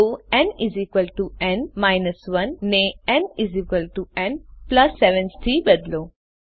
તો nn 1 ને nn 7 થી બદલો